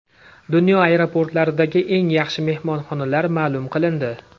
Dunyo aeroportlaridagi eng yaxshi mehmonxonalar ma’lum qilindi.